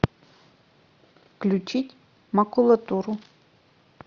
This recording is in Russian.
включить макулатуру